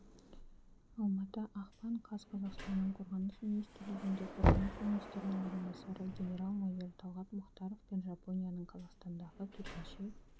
алматы ақпан қаз қазақстанның қорғаныс министрлігінде қорғаныс министрінің орынбасары генерал-майор талғат мұхтаров пен жапонияның қазақстандағы төтенше